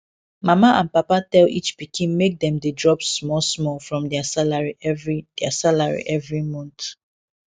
mama and papa tell each pikin make dem dey drop small small from their salary every their salary every month